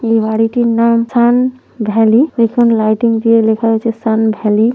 এই বাড়িটির নাম সান্ ভ্যালি পিছনে লাইটিং দিয়ে লেখা হয়েছে সান্ ভ্যালি ।